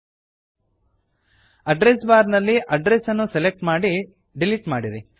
ಲ್ಟ್ಪಾಸೆಗ್ಟ್ address bar ನಲ್ಲಿ address ಅನ್ನು select ಮಾಡಿ ಡಿಲಿಟ್ ಮಾಡಿರಿ